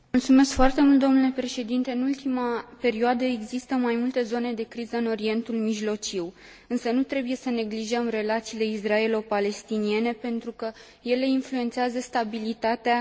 În ultima perioadă, există mai multe zone de criză în Orientul Mijlociu, însă nu trebuie să neglijăm relațiile israelo palestiniene, pentru că ele influențează stabilitatea întregii regiuni.